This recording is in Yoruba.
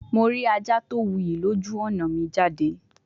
Mo ri aja ti o wuyi loju ọna mi jade